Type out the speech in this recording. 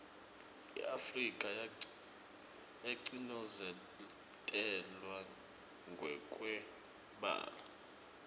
iafrika yacinozetelwa ngekweubala